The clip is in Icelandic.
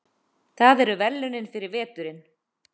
Það eru verðlaunin fyrir veturinn.